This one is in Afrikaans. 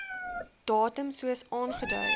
datum soos aangedui